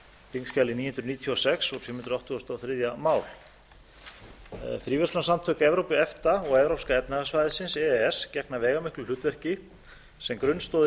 þingskjali níu hundruð níutíu og sex fimm hundruð áttugasta og þriðja mál fríverslunarsamtök evrópu og evrópska efnahagssvæðið gegna veigamiklu hlutverki sem grunnstoðir